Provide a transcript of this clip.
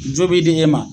Jo b'i di e ma